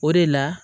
O de la